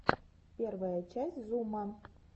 первая часть зума